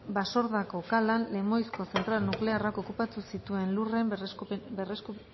basordako kalan lemoizko zentral nuklearrak okupatu zituen lurren